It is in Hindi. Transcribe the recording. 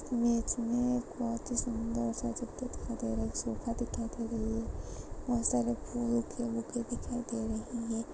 इमेज में बहुत ही सुंदर सा चित्र दिखाई दे रही है सोफा दिखाई दे रही है ऐसा लगता है कि बुके वुके दिखाई दे रही है।